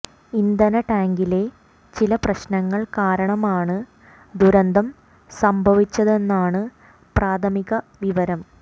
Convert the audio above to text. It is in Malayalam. ഇന്ധന ടാങ്കിലെ ചില പ്രശ്നങ്ങൾ കാരണമാണ് ദുരന്തം സംഭവിച്ചതെന്നാണ് പ്രാഥമിക വിവരം